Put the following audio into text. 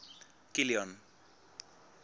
kilian